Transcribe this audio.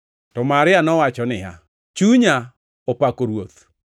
To Maria nowacho niya, “Chunya opako Ruoth